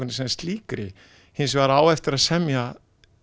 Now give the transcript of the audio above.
sem slíkri hins vegar á eftir að semja